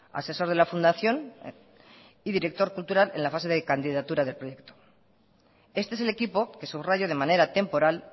asesor de la fundación y director cultural en la fase de candidatura de proyecto este es el equipo que subrayo de manera temporal